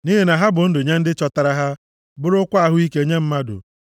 nʼihi na ha bụ ndụ nye ndị chọtara ha, bụrụkwa ahụ ike nye mmadụ.